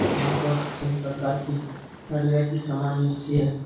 यहाँ पर सभी प्रकार की हार्डवेयर की सामान मिलती है |